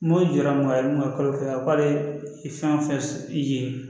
Mori jɔ mɔgɔ ye mun ka kalo fɛn k'ale fɛn o fɛn i ye